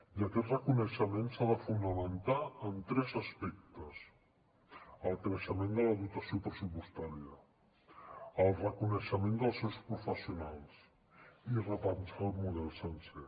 i aquest reconeixement s’ha de fonamentar en tres aspectes el creixement de la dotació pressupostària el reconeixement dels seus professionals i repensar el model sencer